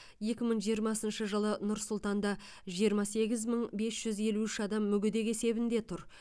екі мың жиырмасыншы жылы нұр сұлтанда жиырма сегіз мың бес жүз елу үш адам мүгедек есебінде тұр